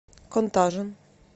контажен